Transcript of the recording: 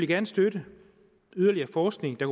gerne støtte yderligere forskning der